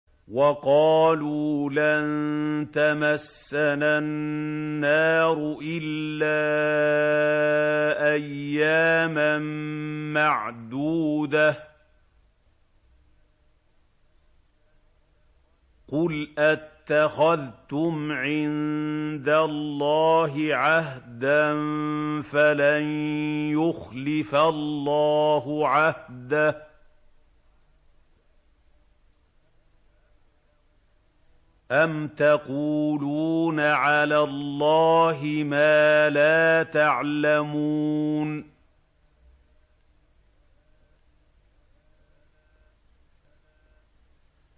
وَقَالُوا لَن تَمَسَّنَا النَّارُ إِلَّا أَيَّامًا مَّعْدُودَةً ۚ قُلْ أَتَّخَذْتُمْ عِندَ اللَّهِ عَهْدًا فَلَن يُخْلِفَ اللَّهُ عَهْدَهُ ۖ أَمْ تَقُولُونَ عَلَى اللَّهِ مَا لَا تَعْلَمُونَ